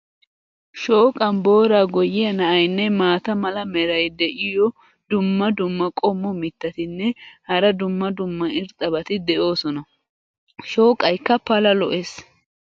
shooqqan booraa goyiya na"aynne maata mala meray diyo dumma dumma qommo mitattinne hara dumma dumma irxxabati de'oosona. shooqaykka pala lo'ees.